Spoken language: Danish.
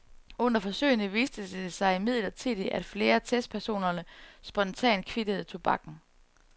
Under forsøgene viste det sig imidlertid, at flere af testpersonerne spontant kvittede tobakken.